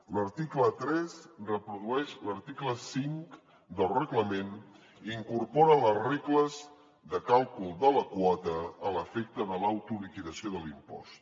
l’article tres reprodueix l’article cinc del reglament i incorpora les regles de càlcul de la quota a l’efecte de l’autoliquidació de l’impost